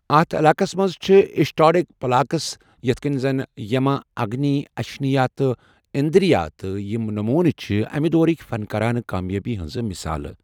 اتھ علاقَس منٛز چھِ اشٹادک پلاکَس، یتھ کٔنۍ زَن، یما، اگنی، اشنیا، تہٕ اندرا تہٕ یِم نمونہٕ چھِ امہِ دورٕک فَن کارانہٕ کامیٲبی ہنٛز مثالہٕ۔